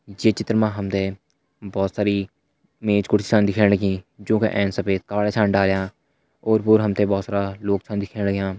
ये चित्र मा हम तैं बहुत सारी मेज कुर्सियां दिखेण लगीं जू का सफ़ेद कपड़ा छन डाल्यां ओर-पोर हम तैं बहुत सारा लोग छन दिखेण लग्यां।